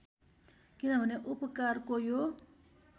किनभने उपकारको यो